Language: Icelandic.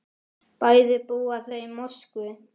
Bæði búa þau í Moskvu.